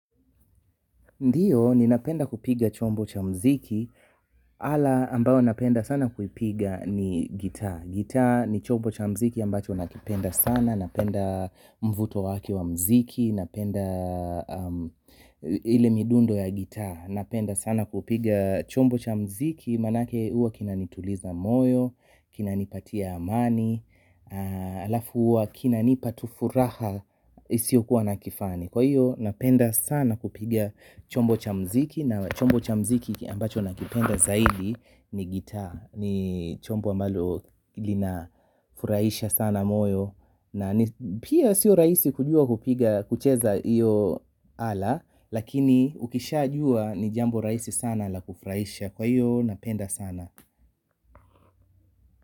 Ndiyo, ninapenda kupiga chombo cha muziki ala ambayo napenda sana kupiga ni gitaa. Gitaa ni chombo cha muziki ambacho nakipenda sana napenda mvuto wake wa muziki napenda ile midundo ya gitaa. Napenda sana kupiga chombo cha mziki. Maanake huwa kinanituliza moyo, kinanipatia amani, alafu huwa kinanipa tu furaha isiyokuwa na kifani kwa hiyo napenda sana kupiga chombo cha muziki na chombo cha muziki ambacho nakipenda zaidi ni gitaa ni chombo ambalo linafurahisha sana moyo pia sio rahisi kujua kucheza hiyo ala lakini ukishajua ni jambo rahisi sana la kufurahisha kwa hiyo napenda sana.